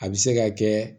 A bɛ se ka kɛ